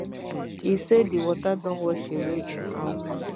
e say di water don wash away im house